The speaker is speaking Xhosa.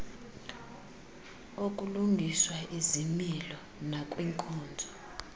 okulungiswa izimilo nakwiinkonzo